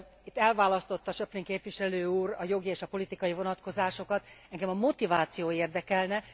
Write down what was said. Itt elválasztotta Schöpflin képviselő úr a jogi és a politikai vonatkozásokat, engem a motiváció érdekelne.